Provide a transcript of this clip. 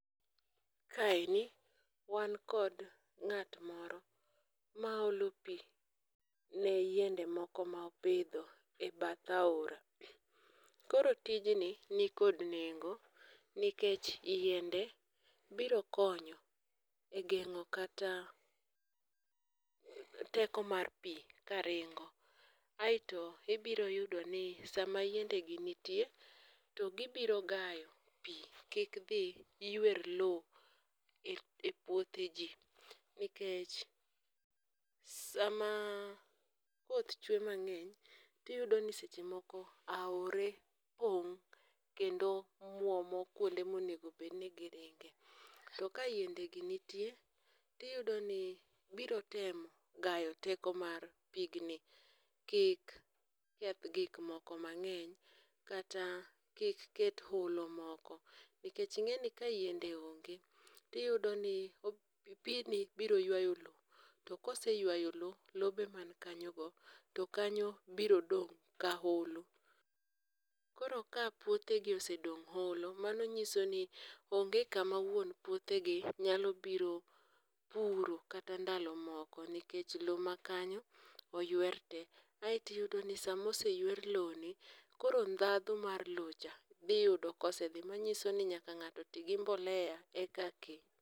Kaeni wan kod ng'at moro ma olo pi ne yiende moko ma opidho e bath aora, koro tijni nikod nengo nikech yiende biro konyo e geng'o kata teko mar pi karingo, aeto ibiro yudoni sama yiendegi nitie to gibiro gayo pi kik dhi ywer lowo e puothe ji, nikech sama koth chwe mang'eny tiyudo ni seche moko aore pong' kendo mwomo kwonde monego bed ni giringe. To ka yiendegi nitie tiyudo ni biro temo gayo teko mar pigni kik keth gikmoko mang'eny kata kik ket holo moko nikech ing'eni ka yiende onge tiyudo ni pini biro ywalo lowo, to koseywayo lo, lobe man kanyogo, to kanyo biro dong' ka holo, koro ka puothegi osedong'; holo, mao nyiso ni onge kama wuon puothegi nyalo biro puro kata ndalo moko nikech lowo makanyo oywer te aeto iyudo ni sama oseywer lowoni, koro ndhadhu mar lowocha dhi yudo kosedhi manyiso ni nyaka ng'ato ti gi mbolea eka